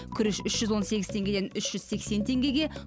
күріш үш жүз он сегіз теңгеден үш жүз сексен теңгеге